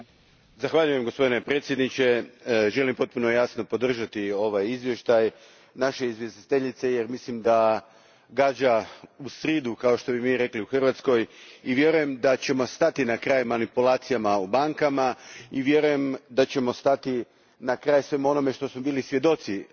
Gospodine predsjedniče, želim potpuno jasno podržati ovaj izvještaj naše izvjestiteljice jer mislim da gađa u sridu, kao što bismo mi rekli u Hrvatskoj, i vjerujem da ćemo stati na kraj manipulacijama u bankama i vjerujem da ćemo stati na kraj svemu onome čemu smo bili svjedoci zadnjih